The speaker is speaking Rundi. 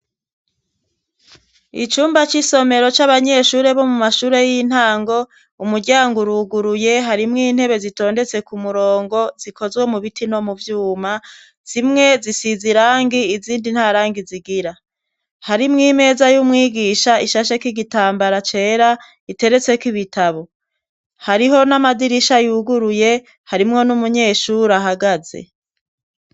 Icumba c'isomero c'abanyeshure bo mu mashure y'intango umuryango uruguruye harimwo intebe zitondetse ku murongo zikozwe mu biti no mu vyuma zimwe zisizirangi izindi nta rangi zigira harimwo imeza y'umwigisha ishashe k'igitambara cera iteretsekoibie bitabo hariho n'amadirisha yuguruye harimwo n'umunyeshuri ahagaze.